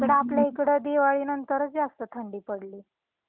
इकडे आपल्या इकडे दिवाळी नंतरच जास्ती थंडी पडली.